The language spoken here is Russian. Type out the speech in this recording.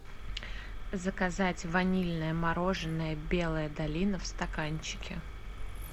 заказать ванильное мороженое белая долина в стаканчике